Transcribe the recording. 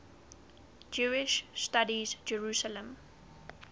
jewish studies jerusalem